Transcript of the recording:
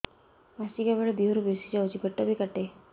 ମାସିକା ବେଳେ ଦିହରୁ ବେଶି ଯାଉଛି ପେଟ ବି କାଟେ